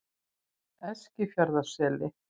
Eskifjarðarseli